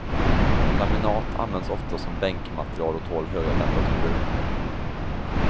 Laminat används ofta som bänkmateriel och tål höga temperaturer.